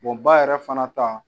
ba yɛrɛ fana ta.